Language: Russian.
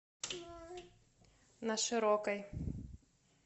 на широкой